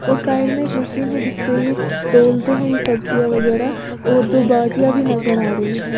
और साइड में एक मशीन है जिसपे तोलते हैं ये सब्जियां वगैरा और दो बाटिया भी नजर आ रही है।